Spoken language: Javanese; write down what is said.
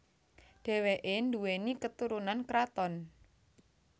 Dheweke nduweni keturunan kraton